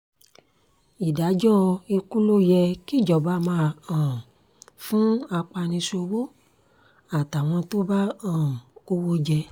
ìdájọ́ ikú ló yẹ kíjọba máa um fún apaniṣòwò àtàwọn tó bá um kówó jẹ